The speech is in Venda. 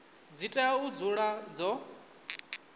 dzi tea u dzula dzo